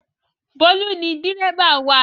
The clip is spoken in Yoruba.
Bólú ni dẹ́ríbà wa